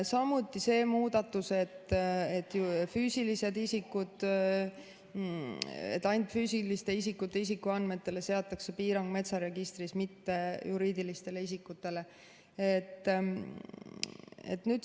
Samuti see muudatus, et ainult füüsiliste isikute isikuandmetele seatakse piirang metsaregistris, mitte juriidilistele isikutele.